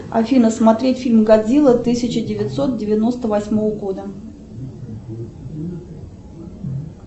афина смотреть фильм годзилла тысяча девятьсот девяносто восьмого года